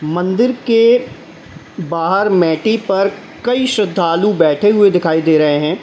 मंदिर के बाहर मैटि पर कई श्रद्धालु बैठे हुए दिखाई दे रहे हैं।